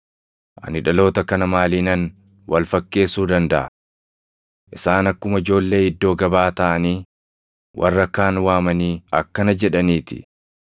“Ani dhaloota kana maaliinan wal fakkeessuu dandaʼa? Isaan akkuma ijoollee iddoo gabaa taaʼanii warra kaan waamanii akkana jedhanii ti: